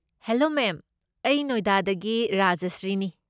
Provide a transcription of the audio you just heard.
Hello ma'am, ꯑꯩ ꯅꯣꯏꯗꯥꯗꯒꯤ ꯔꯥꯖꯁ꯭ꯔꯤꯅꯤ꯫